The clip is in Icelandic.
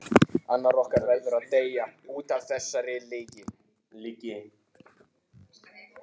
Annar okkar varð að deyja útaf þessari lygi.